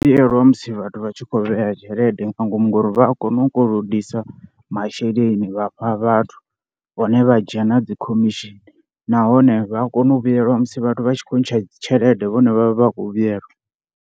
Vhuyelwa musi vhathu vha tshi kho vheya tshelede nga ngomu ngori vha a kona u kolodisa masheleni vha fha vhathu vhone vha dzhia na dzi khomishini nahone vha a kona u vhuyelwa musi vhathu vha tshi khou ntsha tshelede vhone vha vha vha kho vhuyelwa.